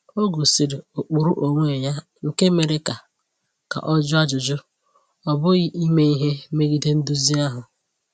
O gosiri ụkpụrụ onwe ya nke mere ka ka ọ jụọ ajụjụ, ọ bụghị ime ihe megide nduzi ahụ.